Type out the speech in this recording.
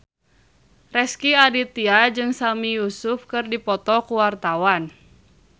Rezky Aditya jeung Sami Yusuf keur dipoto ku wartawan